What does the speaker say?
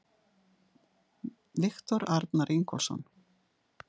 Viktor Arnar Ingólfsson